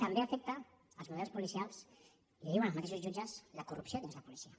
també afecta els models policials i ho diuen els mateixos jutges la corrupció dins la policia